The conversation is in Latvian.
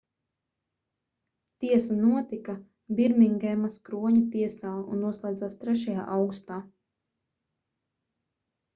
tiesa notika birmingemas kroņa tiesā un noslēdzās 3. augustā